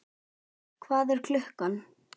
Hervar, hvað er klukkan?